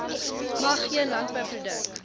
mag geen landbouproduk